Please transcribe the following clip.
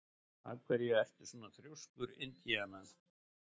Af hverju ertu svona þrjóskur, Indiana?